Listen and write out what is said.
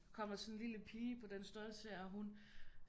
Kommer sådan en lille pige på den størrelse er hun